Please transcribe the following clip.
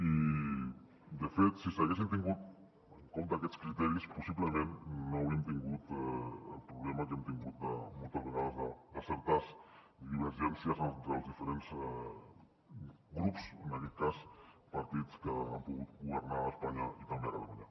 i de fet si s’haguessin tingut en compte aquests criteris possiblement no hauríem tingut el problema que hem tingut moltes vegades de certes divergències entre els diferents grups en aquest cas partits que han pogut governar a espanya i també a catalunya